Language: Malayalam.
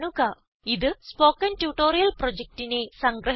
ഇത് സ്പൊകെൻ ട്യൂട്ടോറിയൽ പ്രൊജക്റ്റിനെ സംഗ്രഹിക്കുന്നു